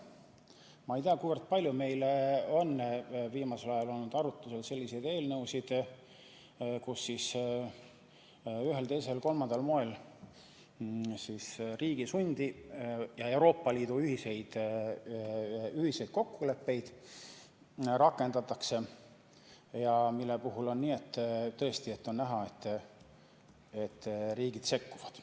Ma ei tea, kui palju meil on viimasel ajal olnud arutusel selliseid eelnõusid, kus ühel, teisel või kolmandal moel riigi sundi ja Euroopa Liidu ühiseid kokkuleppeid rakendatakse ja mille puhul on tõesti näha, et riigid sekkuvad.